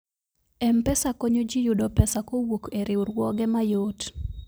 mpesa konyo ji yudo pesa kowuok e riwruoge mayot